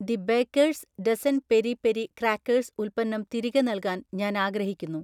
The baker's dozen peri peri crackers ഉൽപ്പന്നം തിരികെ നൽകാൻ ഞാൻ ആഗ്രഹിക്കുന്നു.